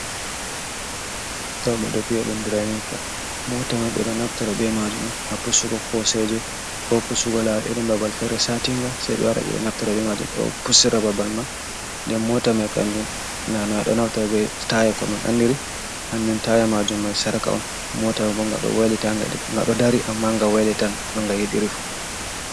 To ɓe ɗo bi’a ɗun Draninka, moota may ɓe ɗo naftira bee maajum haa pusugo koosheeje koo pusugo laawol irin babal fere satiinga, sey ɓe wara ɓe ɗo naftira bee maajum do pucsira babal man den mota mai kanjum naana ɗo naftira bee taaya ko en andiri, hanjum taya majum mai sarka on, mota ma bo nga ɗo dari amma nga waylitan no nga yiɗiri fuu.